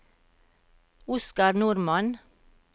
Oskar Normann